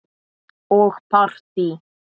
Og partí.